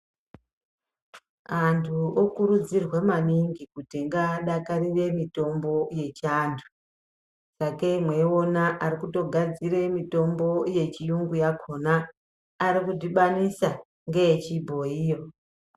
Antu okurudzirwa maningi kuti ngadakarire mitombo yechiandu sakei mweiona arikutogadzira mitombo yechirungu yakona arikudhibanisa neyechibhoyiyo.